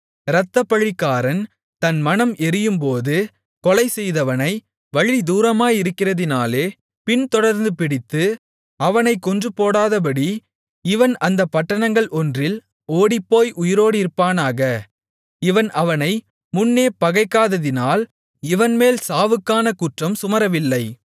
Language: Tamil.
இரத்தப்பழிக்காரன் தன் மனம் எரியும்போது கொலைசெய்தவனை வழி தூரமாயிருக்கிறதினாலே பின்தொடர்ந்து பிடித்து அவனைக் கொன்றுபோடாதபடி இவன் அந்தப் பட்டணங்கள் ஒன்றில் ஓடிப்போய் உயிரோடிருப்பானாக இவன் அவனை முன்னே பகைக்காததினால் இவன்மேல் சாவுக்கான குற்றம் சுமரவில்லை